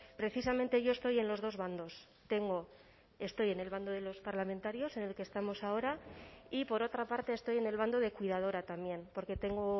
precisamente yo estoy en los dos bandos tengo estoy en el bando de los parlamentarios en el que estamos ahora y por otra parte estoy en el bando de cuidadora también porque tengo